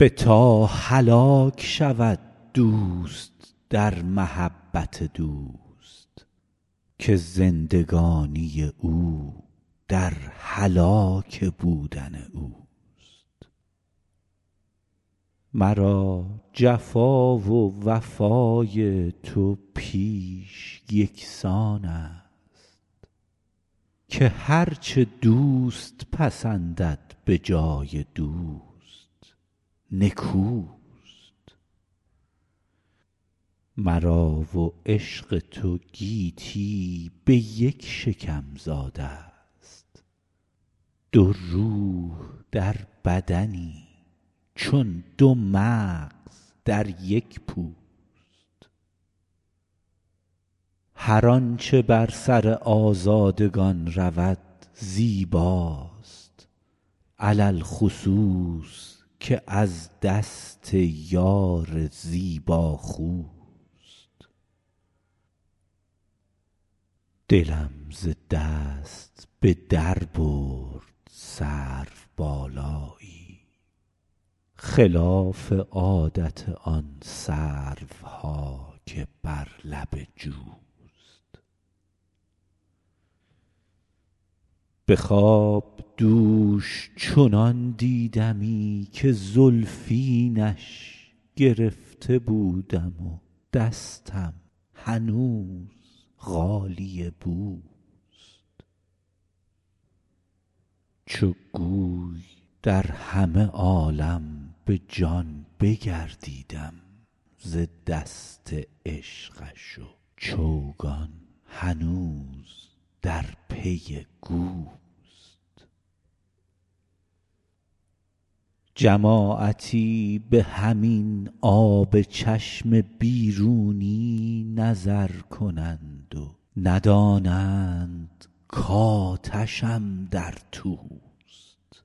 بتا هلاک شود دوست در محبت دوست که زندگانی او در هلاک بودن اوست مرا جفا و وفای تو پیش یکسان است که هر چه دوست پسندد به جای دوست نکوست مرا و عشق تو گیتی به یک شکم زاده ست دو روح در بدنی چون دو مغز در یک پوست هر آنچه بر سر آزادگان رود زیباست علی الخصوص که از دست یار زیباخوست دلم ز دست به در برد سروبالایی خلاف عادت آن سروها که بر لب جوست به خواب دوش چنان دیدمی که زلفینش گرفته بودم و دستم هنوز غالیه بوست چو گوی در همه عالم به جان بگردیدم ز دست عشقش و چوگان هنوز در پی گوست جماعتی به همین آب چشم بیرونی نظر کنند و ندانند کآتشم در توست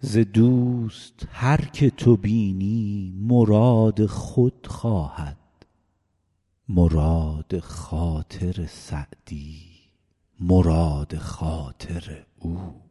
ز دوست هر که تو بینی مراد خود خواهد مراد خاطر سعدی مراد خاطر اوست